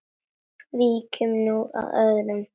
Víkjum nú að öðru.